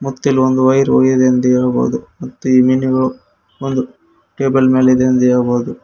ಮತ್ತು ಇಲ್ಲಿ ಒಂದು ವೈರ್ ಇದೆ ಎಂದು ಹೇಳಬಹುದು ಮತ್ತು ಈ ಮೀನುಗಳು ಟೇಬಲ್ ಮೇಲೆ ಇದೆ ಎಂದು ಹೇಳಬಹುದು.